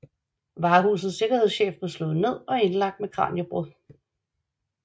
Varehusets sikkerhedschef blev slået ned og indlagt med kraniebrud